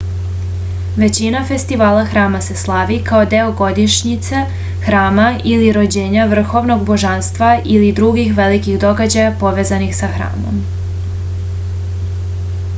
većina festivala hrama se slavi kao deo godišnjice hrama ili rođendana vrhovnog božanstva ili drugih velikih događaja povezanih sa hramom